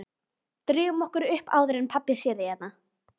Drífum okkur upp áður en pabbi sér þig hérna